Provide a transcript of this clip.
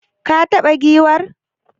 Ka taba giwar?